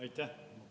Aitäh!